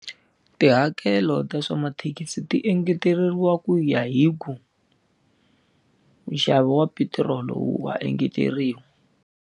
Tihakelo ta swa mathekisi ti engeteriwa ku ya hi ku, nxavo wa petiroli wa engeteriwa.